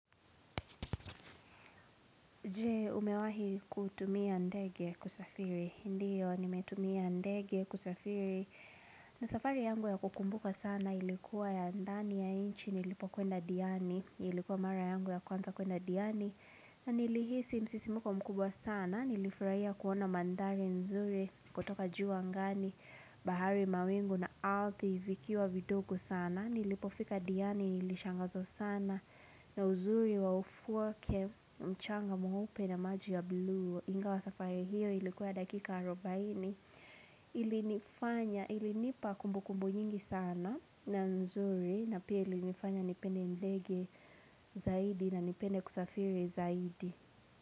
Je umewahi kutumia ndege kusafiri, ndio nimetumia ndege kusafiri na safari yangu ya kukumbuka sana ilikuwa ya ndani ya nchi nilipokwenda diani Ilikuwa mara yangu ya kwanza kuenda diani na nilihisi msisimko mkubwa sana, nilifurahia kuona mandhari nzuri kutoka juu angani bahari mawingu na ardhi vikiwa vidogo sana Nilipofika diani nilishangazwa sana na uzuri wa ufuo wake mchanga mweupe na maji ya bluu ingawa safari hiyo ilikuwa ya dakika arubaini ilinipa kumbukumbu nyingi sana na nzuri na pili ilinifanya nipende ndege zaidi na nipende kusafiri zaidi.